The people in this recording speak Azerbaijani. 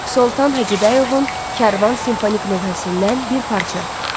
Soltan Hacıbəyovun Kərvan simfonik lövhəsindən bir parça.